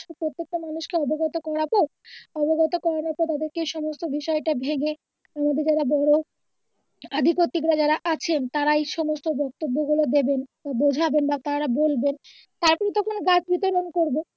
প্রত্যেক টা মানুষ কে অবগত করাবো অবগত করানোর পরে তাদের কে সমস্ত বিষয়টা ভেঙ্গে আমাদের যারা বড় অধিকর্তৃক বা যারা আছেন তারাই সমস্ত বক্তব্য গুলো দিবেন বোঝাবেন বা তারা বলবেন তারপরে তখন গাছ বিতরন করবো।